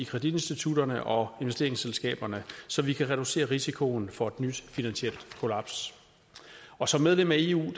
kreditinstitutterne og investeringsselskaberne så vi kan reducere risikoen for et nyt finansielt kollaps og som medlem af eu